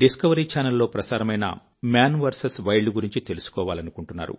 discovery channel లో ప్రసారమైన Maan VS wild గురించి తెలుసుకోవాలనుకుంటున్నారు